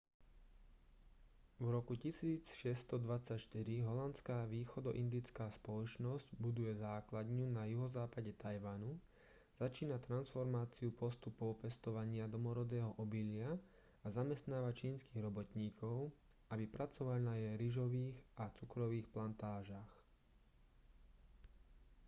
v roku 1624 holandská východoindická spoločnosť buduje základňu na juhozápade taiwanu začína transformáciu postupov pestovania domorodého obilia a zamestnáva čínskych robotníkov aby pracovali na jej ryžových a cukrových plantážach